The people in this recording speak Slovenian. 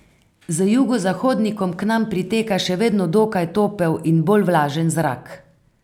Z jugozahodnikom k nam priteka še vedno dokaj topel in bolj vlažen zrak.